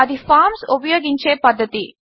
అది ఫార్మ్స్ ఉపయోగించే పద్ధతి